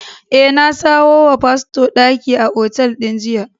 Eh, na samo wa fasto daki a otal din jiya.